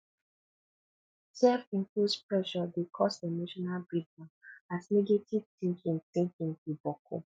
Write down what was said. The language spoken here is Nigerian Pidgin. selfimposed pressure dey cause emotional breakdown as negative tinkin tinkin go boku